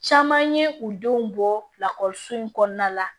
Caman ye u denw bɔ lakɔliso in kɔnɔna la